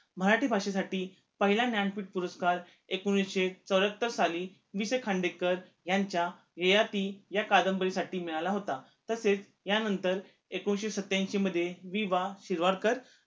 मराठी भाषेसाठी पहिला ज्ञानपिठ पुरस्कार एकोणीशे चौऱ्यात्तर साली वी. स. खांडेकर यांच्या ययाती या कादंबरीसाठी मिळाला होता तसेच या नंतर एकोणीशे सत्याऐशी मध्ये वि. वा. शिरवाडकर